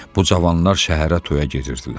Bu cavanlar şəhərə toya gedirdilər.